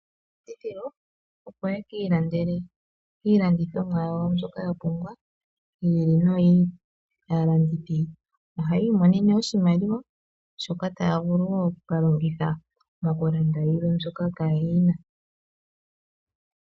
Opo yeki landele iilandithomwa yawo mbyoka ya pumbwa yi ili noyi ili. Aalandithi ohayi monene oshimaliwa shoka taya vuluwo okuka longitha moku landa yilwe mbyoka kayena.